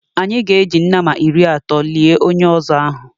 Anyị ga-eji nama iri atọ lie onye ọzọ ahụ.